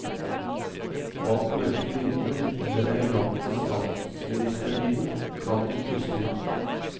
Bak mørke vinduer i den elegante statsministerbilen, kan hun puste ut.